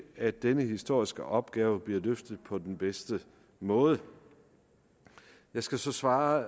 at denne historiske opgave bliver løst på den bedste måde jeg skal så svare